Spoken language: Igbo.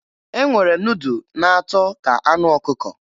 E nwere nudụ na-atọ ka anụ ọkụkọ